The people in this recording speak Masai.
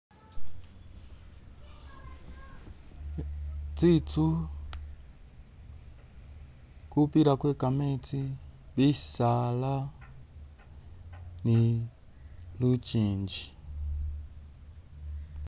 Tsinzu gupila gwe gameezi, bisaala, ni lugingi.